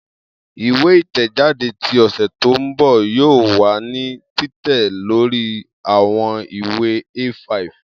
Iwe itẹjade ti ọsẹ to nbọ yoo wa ni titẹ lori awọn iwe A5.